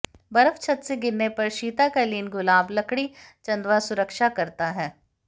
बर्फ छत से गिरने पर शीतकालीन गुलाब लकड़ी चंदवा सुरक्षा करता है